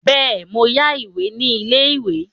Bẹ́ẹ̀ mo yá ìwé ní ilé-ìwé.